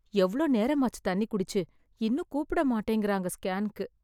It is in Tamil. எவ்ளோ நேரமாச்சு தண்ணி குடிச்சு, இன்னும் கூப்பிட மாட்டேங்கிறாங்க ஸ்கேன்க்கு.